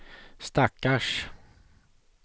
stackars